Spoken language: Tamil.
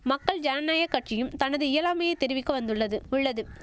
மக்கள் ஜனநாயக கட்சியும் தனது இயலாமையை தெரிவிக்க வந்துள்ளது உள்ளது